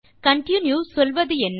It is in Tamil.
கன்டின்யூ சொல்வதென்ன